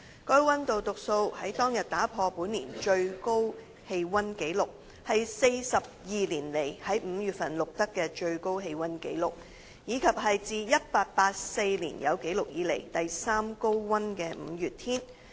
該溫度讀數在當日打破本年最高氣溫紀錄、是42年來在5月份錄得的最高氣溫紀錄，以及是自1884年有紀錄以來第三高溫的5月天。